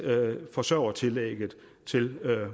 forsørgertillægget til